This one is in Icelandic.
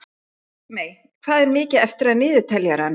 Það er þó allt of oft gert.